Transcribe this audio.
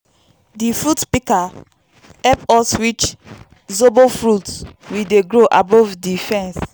di fruit pika hep us reach zobo fruits we dey grow above di fence